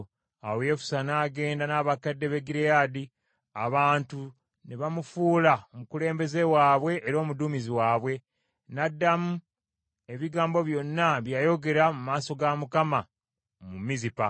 Awo Yefusa n’agenda n’abakadde b’e Gireyaadi, abantu ne bamufuula omukulembeze waabwe era omuduumizi, n’addamu ebigambo byonna bye yayogera mu maaso ga Mukama mu Mizupa.